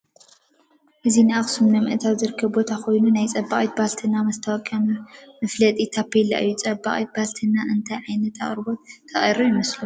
እዚ ንአክሱም ንምእታው ዝርከብ ቦታ ኮይኑ ናይ ፀባቂት ባልትና ማስታወቂያ መፋለጢ ታቤላ እዩ። ፀባቂት ባልትና እንታይ ዓይነት አቅርቦት ተቅርብ ይመስለኩም?